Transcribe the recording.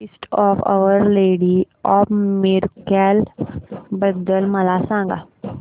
feast of our lady of miracles बद्दल मला सांगा